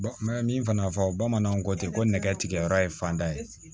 N bɛ min fana fɔ bamananw ko ten ko nɛgɛ tigɛ yɔrɔ ye fanda ye